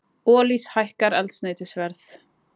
Olís hækkar eldsneytisverð